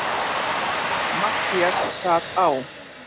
Matthías sat á